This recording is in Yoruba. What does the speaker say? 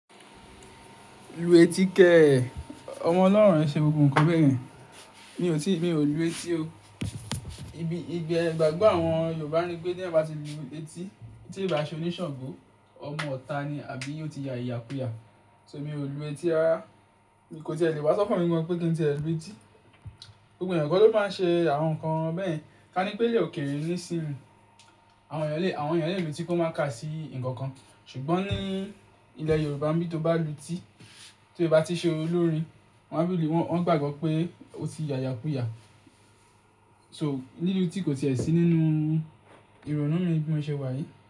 Lu etí kẹ́ẹ̀, ọmọ Ọlọ́run ẹ ṣe gbgbo nkan bẹ́ẹ̀ yẹn. Mi ò tí, mi ò lu etí o. Ibi, ìgbà, ìgbàgbọ́ àwọn Yorùbá ni pé tí ẹ bá ti lu etí, tí ìbá ṣe oníṣàngó, ọmọ ita ni, àbí yóò ti ya ìyàkú ìyà. So mi ò lu etí rárá. Kò ti è lè wá sọkan mi gan pé kí n tí ẹ lu etí. Gbogbo ẹ̀yàn ko ló máa ń ṣe àwọn nǹkan bẹ́ẹ̀ yen, ká ní pẹ́ ilè òkèèrè nísìnyi. Àwọn ènìyàn lè, àwọn ènìyàn lè lu etí kó má ká sí ǹkan kan, ṣùgbọ́n ní ilẹ̀ Yorùbá bí ó bá lu etí, tí ó bá ti ṣe olórin, wọ́n máa ń rí i lu, wọ́n gbàgbọ́ pé ó ti ya ìyàkú ìyà. So, lílu etí kò ti è sí nínú ìrònú mi ní bimoṣẹ́ wa yìí.